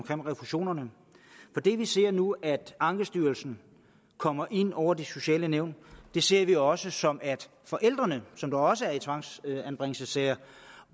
om refusionerne for det vi ser nu nemlig at ankestyrelsen kommer ind over de sociale nævn ser vi også som at forældrene som også er en tvangsanbringelsessagerne